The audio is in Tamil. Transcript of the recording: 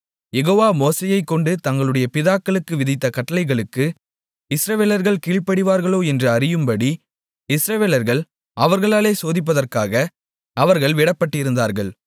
யெகோவா மோசேயைக்கொண்டு தங்களுடைய பிதாக்களுக்கு விதித்த கட்டளைகளுக்கு இஸ்ரவேலர்கள் கீழ்ப்படிவார்களோ என்று அறியும்படி இஸ்ரவேலர்கள் அவர்களாலே சோதிப்பதற்காக அவர்கள் விடப்பட்டிருந்தார்கள்